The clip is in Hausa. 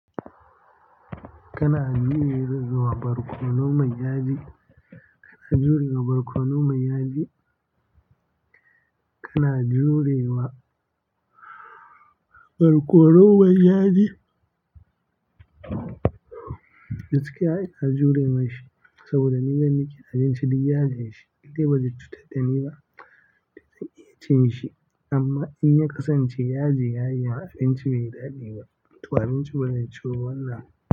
Kana jurewa barkono mai yaji? Gaskiya ina jure mishi saboda ni gani nake abinci duk yajin shi, indai ba zai cutar da ni ba, to zan iya cin shi amma in ya kasance yaji ya yi yawa abinci bai daɗi ba, to abinci bazai ciwu ba wannan.